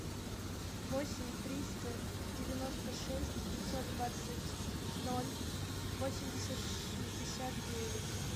восемь триста девяносто шесть пятьсот двадцать ноль восемьдесят шестьдесят девять